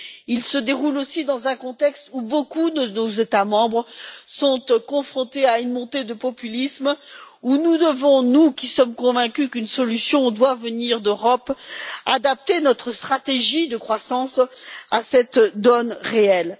Il se déroule aussi dans un contexte où beaucoup de nos États membres sont confrontés à une montée du populisme face à laquelle nous devons, nous qui sommes convaincus qu'une solution doit venir de l'Europe, adapter notre stratégie de croissance à cette réalité.